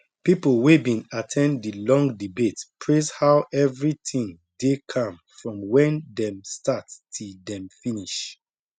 people wey been at ten d the long debate praise how everything dey calm from when dem start till dem finish